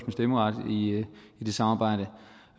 stemmeret i det samarbejde